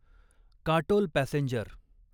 Katol passenger